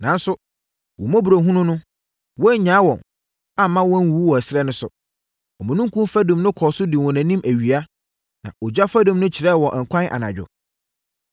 “Nanso, wo mmɔborɔhunu mu, woannyaa wɔn amma wɔanwuwu wɔ ɛserɛ no so. Omununkum fadum no kɔɔ so dii wɔn anim awia, na ogya fadum no kyerɛɛ wɔn ɛkwan anadwo.